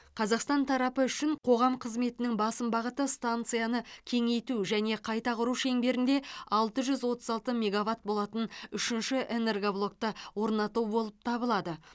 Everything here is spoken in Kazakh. қазақстан тарапы үшін қоғам қызметінің басым бағыты станцияны кеңейту және қайта құру шеңберінде алты жүз отыз алты мегаватт болатын үшінші энергоблокты орнату болып табылады